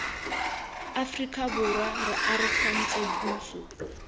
aforika borwa re arogantse puso